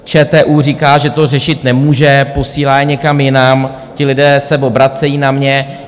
ČTÚ říká, že to řešit nemůže, posílá je někam jinam, ti lidé se obracejí na mě.